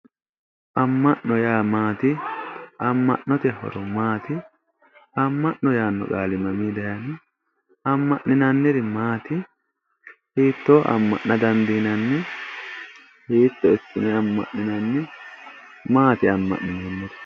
Ama'no yaa maati, ama'note horo maati, ama'no yaano qaali maminni daayino, ama'ninnaniri maati, hiittoni ama'na dandiinanni hiitto ikkine ama'ninnani, maati ama'ninanniri ?